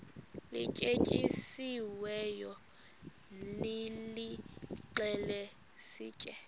lityetyisiweyo nilixhele sitye